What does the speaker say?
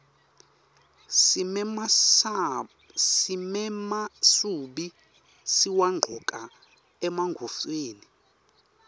simemasubi siwagcoka emagontfweni